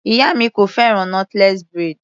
Ìyá mi kò fẹ́ràn knotless braid.